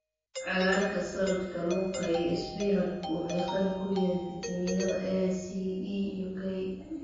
Cagaarka salad, kaluunka iyo isbinaajku waxay qani ku yihiin fiitamiinada A, C, E iyo K